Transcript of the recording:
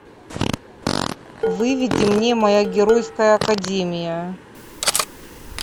выведи мне моя геройская академия